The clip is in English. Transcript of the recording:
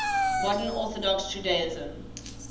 modern orthodox judaism